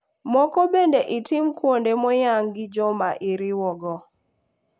Moko bende itimo kuonde moyang gi joma iriwo go.